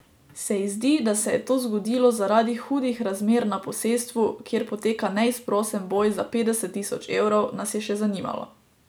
Se ji zdi, da se je to zgodilo zaradi hudih razmer na posestvu, kjer poteka neizprosen boj za petdeset tisoč evrov, nas je še zanimalo.